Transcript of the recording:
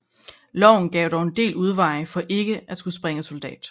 Loven gav dog en del udveje for ikke at skulle springe soldat